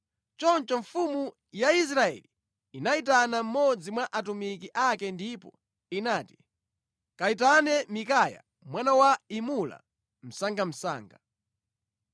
Choncho mfumu ya Israeli inayitana mmodzi mwa atumiki ake ndipo inati, “Kayitane Mikaya mwana wa Imula msangamsanga.”